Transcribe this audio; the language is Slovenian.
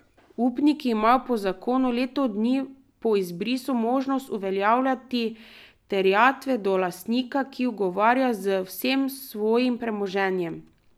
Upniki imajo po zakonu leto dni po izbrisu možnost uveljavljati terjatve do lastnika, ki odgovarja z vsem svojim premoženjem.